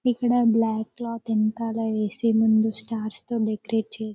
ఇక్కడ black cloth వెనకాల వేసే ముందు స్టార్స్ తో డెకరేట్ చేసి--